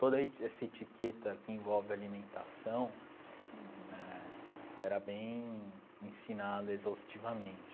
Toda eti essa etiqueta que envolve alimentação né era bem ensinada exaustivamente.